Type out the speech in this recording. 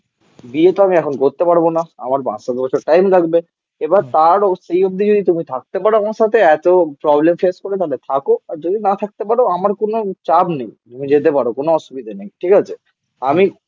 বিয়ে তো আমি এখন করতে পারবো না. আমার পাঁচ সাত বছর টাইম লাগবে. এবার তারও সেই অবধি যদি তুমি থাকতে পারো আমার সাথে এত প্রবলেম ফেস করে তাহলে থাকো. আর যদি না থাকতে পারো আমার কোনো চাপ নেই. তুমি যেতে পারো. কোন অসুবিধা নেই. ঠিক আছে? আমি